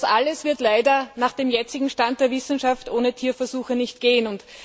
Das alles wird leider nach dem jetzigen Stand der Wissenschaft ohne Tierversuche nicht gehen.